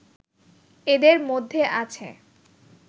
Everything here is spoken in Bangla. এদের মধ্যে আছে